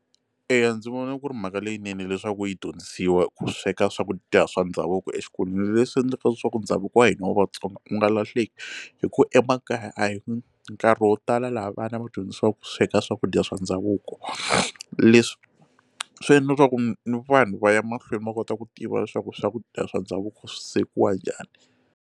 Eya, ndzi vona ku ri mhaka leyinene leswaku yi dyondzisiwa ku sweka swakudya swa ndhavuko exikolweni leswi endlaka leswaku ndhavuko wa hina wa vatsonga wu nga lahleki hi ku emakaya a hi nkarhi wa vo tala laha vana va dyondzisiwa ku sweka swakudya swa ndhavuko leswi swi endla leswaku ni vanhu va ya mahlweni va kota ku tiva leswaku swakudya swa ndhavuko swi swekiwa njhani.